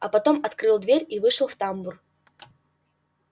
а потом открыл дверь и вышел в тамбур